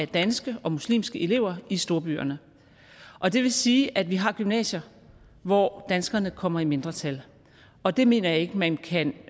danske og muslimske elever i storbyerne og det vil sige at vi har gymnasier hvor danskerne kommer i mindretal og det mener jeg ikke at man kan